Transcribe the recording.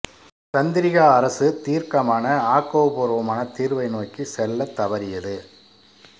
சந்திரிகா அரசு தீர்க்கமான ஆக்கபூர்வமான தீர்வு நோக்கி செல்லத் தவறியது